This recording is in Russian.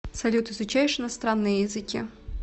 салют изучаешь иностранные языки